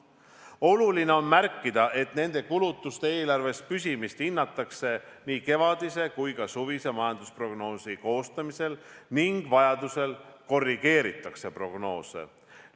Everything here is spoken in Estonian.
Oluline on märkida, et nende kulutuste eelarves püsimist hinnatakse nii kevadise kui ka suvise majandusprognoosi koostamisel ning vajaduse korral korrigeeritakse prognoose.